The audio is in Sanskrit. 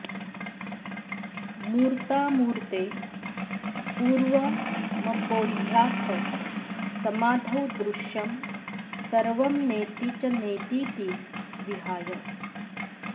मूर्तामूर्ते पूर्वमपोह्याथ समाधौ दृश्यं सर्वं नेति च नेतीति विहाय